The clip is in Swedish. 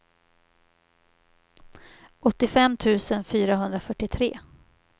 åttiofem tusen fyrahundrafyrtiotre